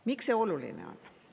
Miks see oluline on?